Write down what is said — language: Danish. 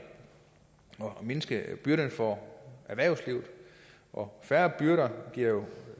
og mindske byrderne for erhvervslivet og færre byrder giver jo